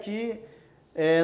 é